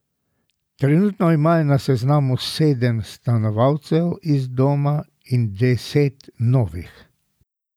Trenutno imajo na seznamu sedem stanovalcev iz doma in deset novih.